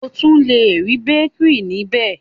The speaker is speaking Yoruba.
O tun le ri békìrì níbẹ̀.